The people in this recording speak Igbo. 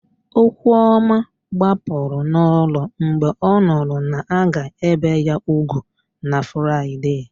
Okwuọma gbapụrụ n'ụlọ mgbe ọ nụrụ na a ga-ébè ya úgwù na Fraịde.